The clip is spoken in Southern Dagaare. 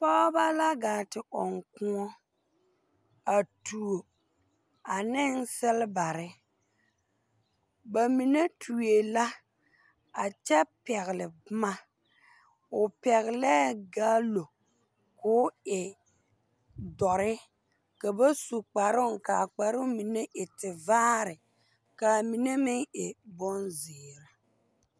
Pɔgeba la gaa te ɔŋ kõɔ a tuo a ne selebare ba mine tue la a kyɛ pɛgle boma o pɛgelɛɛ galo k'o e dɔre ka ba su kparooŋ ka a kparoo mine e tevaare ka a mine meŋ bonzeere.